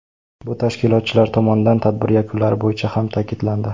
Bu tashkilotchilar tomonidan tadbir yakunlari bo‘yicha ham ta’kidlandi.